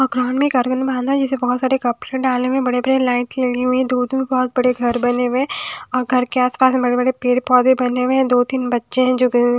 औ ग्राउंड में एक अर्गन बांधा है जिसे बहोत सारे कपड़े डालने में बड़े बड़े लाइट लगी हुई है दूर-दूर बहोत बड़े घर बने हुए हैं और घर के आसपास में बड़े-बड़े पेड़ पौधे बने हुए हैं दो तीन बच्चे हैं जो के --